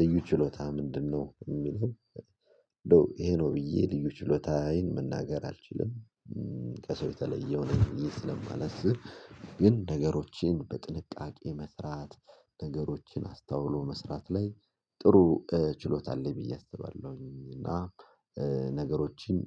ልዩ ችሎታህ ምንድነው? የሚለው ኖ ይሄ ነው ብዬ ልዩ ችሎታዬን መናገር አልችልም። ከሰው የተለየው ነኝ ብዬ ስለማላስብ። ግን ነገሮችን በጥንቃቄ መስራት ነገሮችን አስታውሎ መስራት ላይ ጥሩ ችሎታ አለኝ ብዬ አስባለሁኝ። እና ነገሮችን